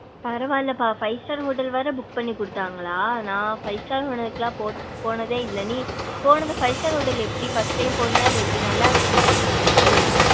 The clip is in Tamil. பரவாலப்பா five star hotel வர book பண்ணி குடுத்தாங்களா நா five star hotel க்குள போ போனதே இல்ல நீ போனதும் five star hotel எப்டி first time போனியா இல்ல எப்டி நல்லா இருந்துச்சா five star hotel.